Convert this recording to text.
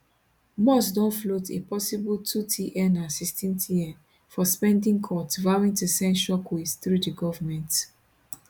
musk don float a possible 2tn 16tn for spending cuts vowing to send shockwaves through di govment